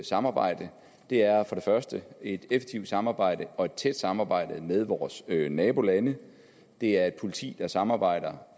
samarbejde det er for det første et effektivt samarbejde og et tæt samarbejde med vores nabolande det er et politi der samarbejder